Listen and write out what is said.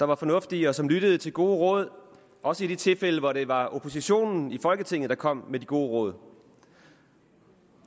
var fornuftige og som lyttede til gode råd også i de tilfælde hvor det var oppositionen i folketinget der kom med de gode råd